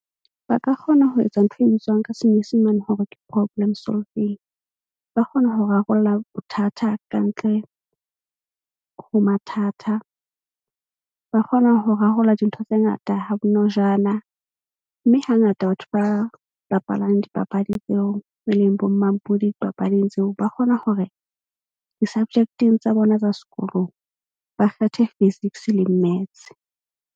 Ba ka kgona ho etsa ntho e bitswang ka senyesemane hore ke problem solving. Ba kgona ho rarolla bothata ka ntle ho mathata, ba kgona ho rarolla dintho tse ngata ha bonojana. Mme hangata batho ba bapalang dipapadi tseo tse leng bo mmampudi dipapading tseo, ba kgona hore di-subject-eng tsa bona tsa sekolong, ba kgethe physics le maths.